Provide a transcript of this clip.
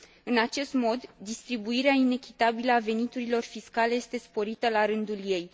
În acest mod, distribuirea inechitabilă a veniturilor fiscale este sporită, la rândul ei.